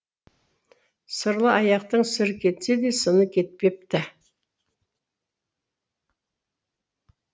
сырлы аяқтың сыры кетсе де сыны кетпепті